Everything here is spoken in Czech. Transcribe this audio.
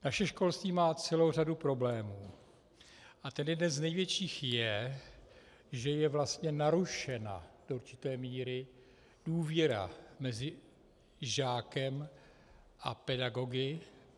Naše školství má celou řadu problémů a ten jeden z největších je, že je vlastně narušena do určité míry důvěra mezi žákem a pedagogy.